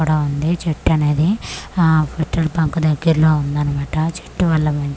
అక్కడ ఉంది చెట్టు అనేది ఆ పెట్రోల్ బంక్ దగ్గర్లో ఉందనమాట చెట్టు వల్ల.